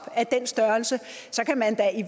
af den størrelse kan man da i